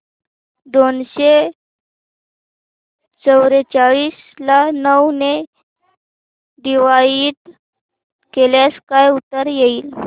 दोनशे चौवेचाळीस ला नऊ ने डिवाईड केल्यास काय उत्तर येईल